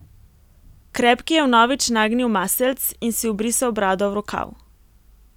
Krepki je vnovič nagnil maseljc in si obrisal brado v rokav.